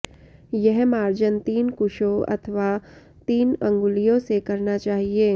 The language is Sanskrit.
यह मार्जन तीन कुशों अथवा तीन अङ्गुलियों से करना चाहिये